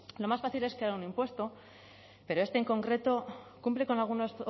lo más fácil es crear un impuesto pero este en concreto cumple con alguno